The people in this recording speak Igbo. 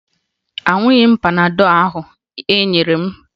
Aṅụghị m panadọ ahụ e nyere m